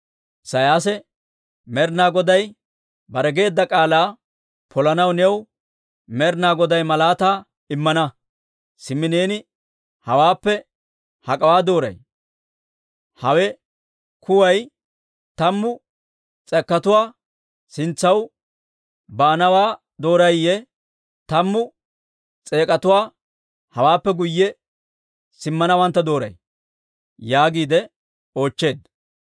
Isiyaasi, «Med'ina Goday bare geedda k'aalaa polanaw new Med'inaa Goday malaataa immana. Simmi neeni hawaappe hak'awaa dooray? Hawe kuway tammu tangguwaa sintsaw baanawaa doorayiyye, tammu tangguwaa hawaappe guyye simmanaa dooray?» yaagiide oochcheedda.